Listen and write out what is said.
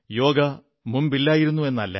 യോഗ മുമ്പില്ലായിരുന്നു എന്നല്ല